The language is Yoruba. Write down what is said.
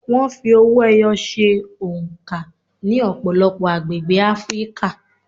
Wọ́n fi owó-ẹyọ ṣe oǹkà ní ọ̀pọ̀lọpọ̀ agbègbè Áfríkà.